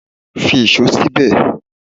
Fi íṣo síbè!